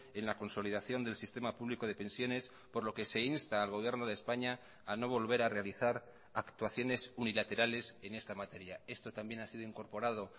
en la consolidación del sistema público de pensiones por lo que se insta al gobierno de españa a no volver a realizar actuaciones unilaterales en esta materia esto también ha sido incorporado